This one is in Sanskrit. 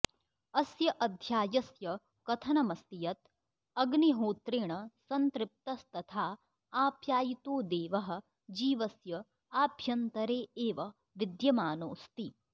अस्य अध्यायस्य कथनमस्ति यद् अग्निहोत्रेण सन्तृप्तस्तथा आप्यायितो देवः जीवस्य आभ्यन्तरे एव विद्यमानोऽस्ति